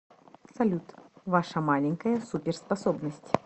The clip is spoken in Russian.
салют ваша маленькая суперспособность